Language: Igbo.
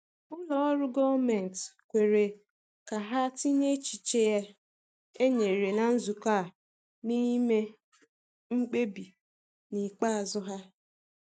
Ụlọ ọrụ gọọmenti kwere ka ha tinye echiche e nyere na nzukọ a n’ime mkpebi ikpeazụ ha.